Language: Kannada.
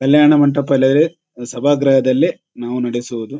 ಕಲ್ಯಾಣ ಮಂಟಪ ಇಲ್ಲ ಅಂದ್ರೆ ಸಭಾ ಗ್ರಹದಲ್ಲಿ ನಾವು ನಾಡಿಸುವುದು.